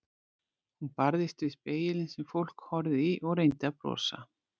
Hún barðist við spegilinn sem fólk horfði í og reyndi að brosa.